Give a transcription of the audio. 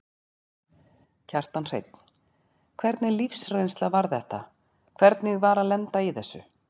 Kjartan Hreinn: Hvernig lífsreynsla var þetta, hvernig var að lenda í þessu?